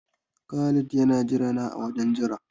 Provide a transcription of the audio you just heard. Khalid yana jirana a wajen jira.